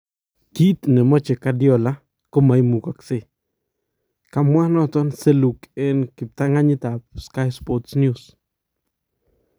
Kiit nemache Guardiola komaimukaksyei ,"kamwaa Seluk en kiptang'anyiit ab Sky Sports News